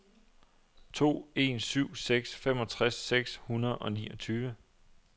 to en syv seks femogtres seks hundrede og niogtyve